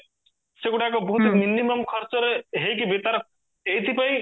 ସେଗୁଡାକ ବହୁତ minimum ଖର୍ଚରେ ହେଇକି ବି ତାର ଏଇଥିପାଇଁ